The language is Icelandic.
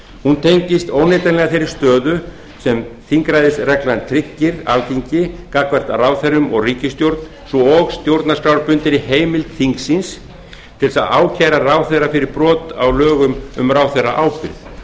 hún tengist óneitanlega þeirri stöðu sem þingræðisreglan tryggir alþingi gagnvart ráðherrum og ríkisstjórn svo og stjórnarskrárbundinni heimild þingsins til að ákæra ráðherra fyrir brot á lögum um ráðherraábyrgð